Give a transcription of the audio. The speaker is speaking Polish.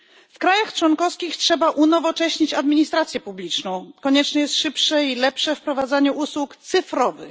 W krajach członkowskich trzeba unowocześnić administrację publiczną. Konieczne jest szybsze i lepsze wprowadzanie usług cyfrowych.